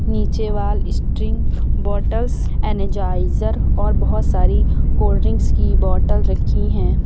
नीचे वाल sting bottle energizer और बहोत सारी कोल्ड ड्रिंक्स की बॉटल रखी है।